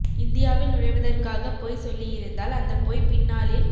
இந்தியாவில் நுழைவதற்காக பொய் சொல்லியிருந்தால் அந்த பொய் பின்னாளில்